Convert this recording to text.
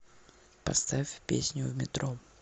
поставь песню в метро